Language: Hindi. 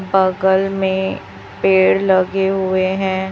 बगल में पेड़ लगे हुए हैं।